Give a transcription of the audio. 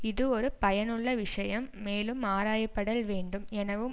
இது ஒரு பயனுள்ள விஷயம் மேலும் ஆராயப்படல் வேண்டும் எனவும்